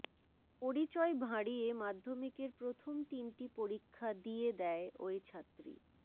পরিচয় ভাঁড়িয়ে মাধ্যমিকের প্রথম তিনটি পরীক্ষা দিয়ে দেয় ওই ছাত্রী